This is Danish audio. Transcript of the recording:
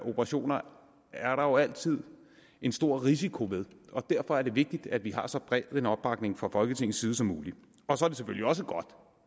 operationer er der jo altid en stor risiko ved og derfor er det vigtigt at vi har så bred en opbakning fra folketingets side som muligt og så er det selvfølgelig også godt